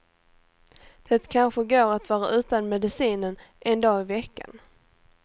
Det kanske går att vara utan medicinen en dag i veckan.